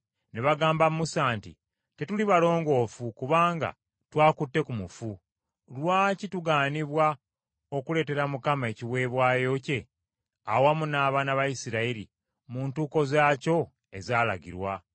ne bagamba Musa nti, “Tetuli balongoofu kubanga twakutte ku mufu; lwaki tugaanibwa okuleetera Mukama ekiweebwayo kye, awamu n’abaana ba Isirayiri, mu ntuuko zaakyo ezaalagirwa?”